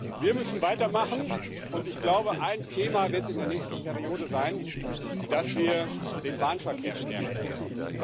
Wir müssen weitermachen, und ich glaube, ein Thema wird in der nächsten Wahlperiode sein, dass wir den Bahnverkehr stärken müssen.